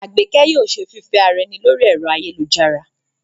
Àgbékẹ́ yóò ṣe fífẹ́ ara ẹni lórí ẹ̀rọ ayélujára